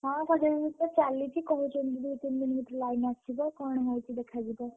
ହଁ ସଜଡାସଜାଡି ତ ଚାଲିଛି କହୁଛନ୍ତି ଦି ତିନି ଦିନ୍ ଭିତରେ line ଆସିଯିବ କଣ ହଉଛି ଦେଖାଯିବ।